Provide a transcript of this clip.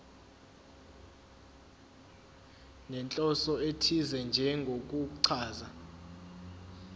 nenhloso ethize njengokuchaza